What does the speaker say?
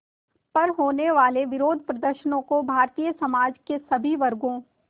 पर होने वाले विरोधप्रदर्शनों को भारतीय समाज के सभी वर्गों